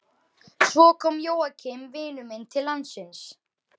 Svo kom Jóakim vinur minn til landsins.